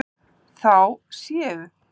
Þá séu